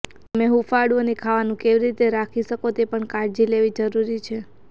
તમે હૂંફાળું અને ખાવાનું કેવી રીતે રાખી શકો તે પણ કાળજી લેવી જરૂરી છે